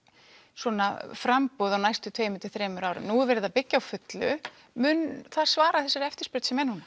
svona framboð á næstu tveimur til þremur árum nú er verið að byggja á fullu mun það svara þessari eftirspurn sem er núna